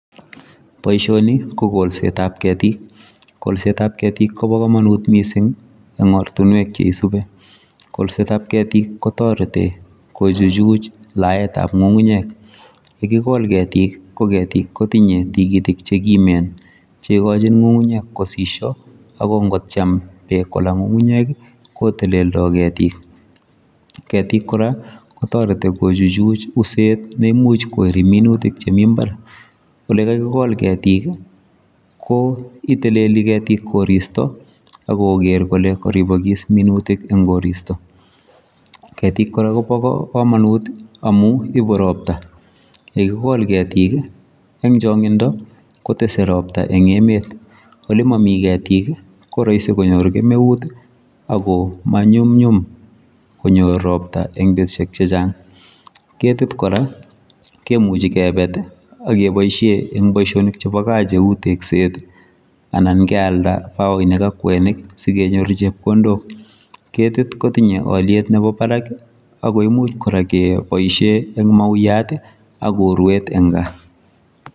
Boishoni ko koksetab ketik kolsetab ketik Kobo komonut missing en ortinwek cheisibi , kolsetab ketik kotoreti kochuchuch laetab ngungunyek yekikol. Ketik ko ketik kotinye tukitik chekiunen chekochi ngungunyek kosishi ak nkotyem beek kolaa ngungunyeki koteleldo ketik. Ketik Koraa kotoreti kochuchu uset nemuche koiri minutik chemii imbar ole kakikol ketik ko iteleli ketik koristo akokere kole koribokik minutik en koristo, ketik Koraa Kobo komonut amun ibu ropta yekikol ketik kii en chongindo kotesen ropta en emet. Olemomii ketik ki ko roisi konyor kemeuti ak koo monyumnyum konyor ropta en betushek che Chang. Ketik Koraa kemuchi kebeti ak keboishen en boishonik chebo gaa cheu tekset anan kealda bokoinik ak kwenik sikenyor chepkondok, ketik kotinye oliet nebo baraki ako imuch Koraa kee boishen en mauyati ak uruet en gaa.